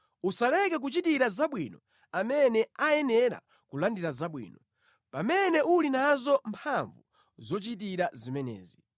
Usaleke kuchitira zabwino amene ayenera kulandira zabwino, pamene uli nazo mphamvu zochitira zimenezi.